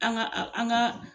An ka a an ka